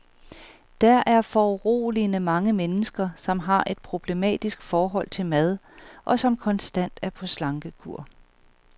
Der er foruroligende mange mennesker, som har et problematisk forhold til mad, og som konstant er på slankekur.